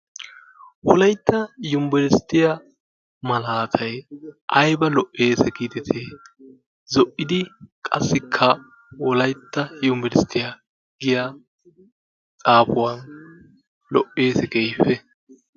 Wolaytta yunbberesttiya malaatayi ayba lo"es giidetii? Zo"idi qassikka wolaytta yunbberesttiya giya xaafuwan lo"es keehippe.